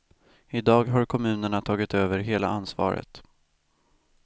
I dag har kommunerna tagit över hela ansvaret.